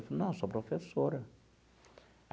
Falou, não, sou professora.